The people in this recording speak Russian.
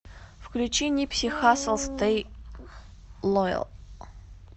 включи нипси хассл стэй лоял